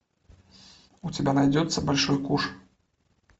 у тебя найдется большой куш